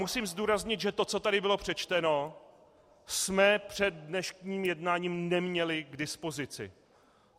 Musím zdůraznit, že to, co tady bylo přečteno, jsme před dnešním jednáním neměli k dispozici.